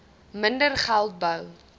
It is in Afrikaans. minder geld bou